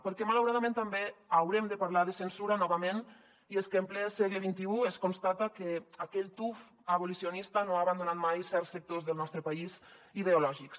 perquè malauradament també haurem de parlar de censura novament i és que en ple segle xxi es constata que aquell tuf abolicionista no ha abandonat mai certs sectors del nostre país ideològics